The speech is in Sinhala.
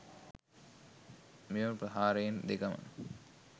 මෙම ප්‍රහාරයන් දෙකම